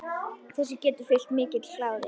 Þessu getur fylgt mikill kláði.